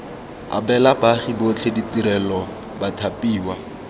abela baagi botlhe ditirelo bathapiwa